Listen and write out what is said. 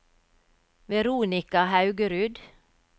Veronica Haugerud